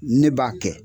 Ne b'a kɛ